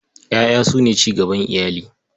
Ƴaƴa su ne cigaban iyali.